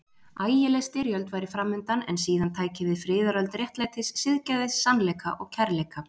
Ægileg styrjöld væri framundan, en síðan tæki við friðaröld réttlætis, siðgæðis, sannleika og kærleika.